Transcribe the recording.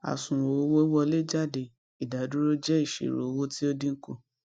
àsùnwòn owó wọlé jáde ìdádúró jẹ ìṣirò owó tí ó dín kù